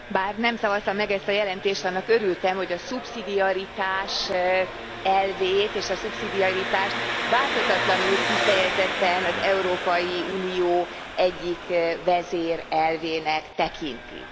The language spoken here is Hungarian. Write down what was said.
Elnök úr! Bár nem szavaztam meg ezt a jelentést, annak örültem, hogy a szubszidiaritás elvét és a szubszidiaritást változatlanul kifejezetten az Európai Unió egyik vezérelvének tekintik.